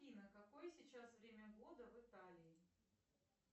афина какое сейчас время года в италии